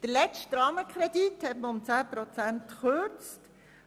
Der letzte Rahmenkredit wurde um 10 Prozent gekürzt.